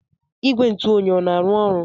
Igwe ntụ oyi o na-arụ ọrụ?